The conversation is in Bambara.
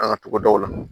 An ka togodaw la